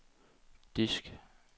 disk